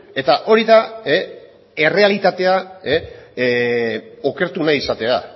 eta hori da errealitatea okertu nahi izatea